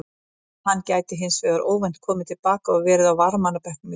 Hann gæti hins vegar óvænt komið til baka og verið á varamannabekknum í kvöld.